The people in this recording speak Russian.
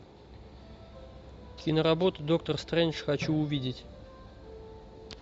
киноработу доктор стрендж хочу увидеть